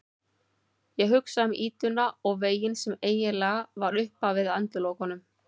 Ég hugsa um ýtuna og veginn sem eiginlega var upphafið að endalokunum.